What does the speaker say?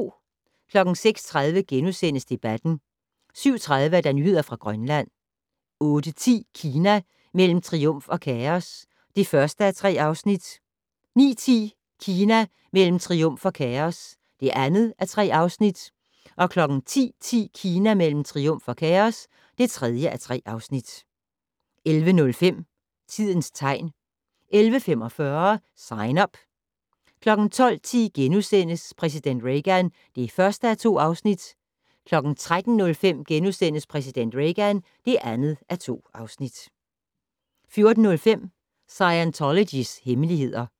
06:30: Debatten * 07:30: Nyheder fra Grønland 08:10: Kina mellem triumf og kaos (1:3) 09:10: Kina mellem triumf og kaos (2:3) 10:10: Kina mellem triumf og kaos (3:3) 11:05: Tidens tegn 11:45: Sign Up 12:10: Præsident Reagan (1:2)* 13:05: Præsident Reagan (2:2)* 14:05: Scientologys hemmeligheder